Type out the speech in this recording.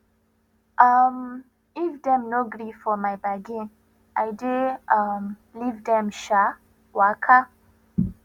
um if dem no gree for my bargain i dey um leave dem um waka